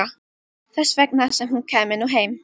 Þess vegna sem hún kæmi nú heim.